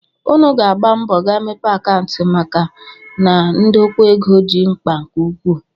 Unu ga-agba mbọ gaa mepee akaụntụ maka na ndokwa ego dị mkpa nke ukwuu